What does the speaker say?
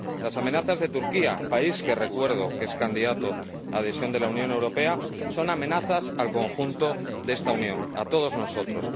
Las amenazas de Turquía, país que recuerdo que es candidato a la adhesión a la Unión Europea, son amenazas al conjunto de esta Unión, a todos nosotros.